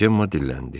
Cemma dilləndi.